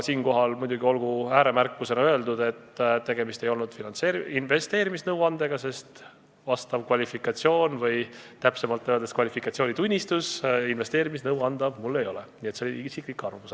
Siinkohal olgu muidugi ääremärkusena öeldud, et tegemist ei olnud investeerimisnõuandega, sest vastavat kvalifikatsiooni või täpsemalt öeldes kvalifikatsioonitunnistust mul ei ole ja see oli isiklik arvamus.